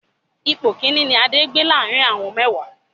Ipò Kínní ni Adé gbé láàrín àwọn mẹ́wàá.